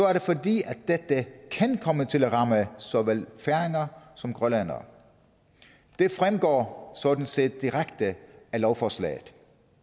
er det fordi dette kan komme til at ramme såvel færinger som grønlændere det fremgår sådan set direkte af lovforslaget